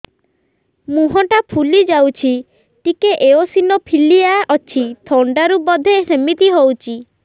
ମୁହଁ ଟା ଫୁଲି ଯାଉଛି ଟିକେ ଏଓସିନୋଫିଲିଆ ଅଛି ଥଣ୍ଡା ରୁ ବଧେ ସିମିତି ହଉଚି